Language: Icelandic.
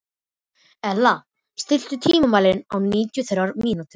Elea, stilltu tímamælinn á níutíu og þrjár mínútur.